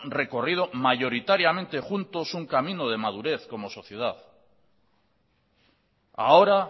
recorrido mayoritariamente juntos un camina de madurez como sociedad ahora